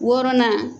Wɔɔrɔnan